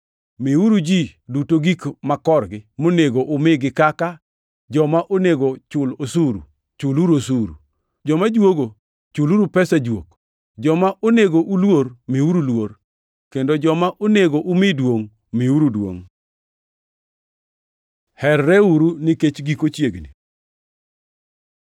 Miuru ji duto gik makorgi monego umigi kaka: Joma onego chul osuru; chuluru osuru; joma juogo chuluru pesa jwok; joma onego uluor, miuru luor, kendo joma onego umi duongʼ, miuru duongʼ. Herreuru nikech giko chiegni